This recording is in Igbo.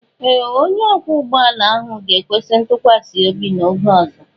Ee! Onye ọkwọ ụgbọ ala ahụ ga-ekwesị ntụkwasị obi n'oge ọzọ.